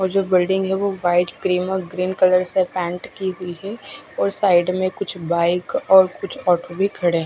और जो बिल्डिंग है वो वाइट क्रीम और ग्रीन कलर से पेंट की हुई है और साइड में कुछ बाइक और कुछ ऑटो भी खड़े हुए है।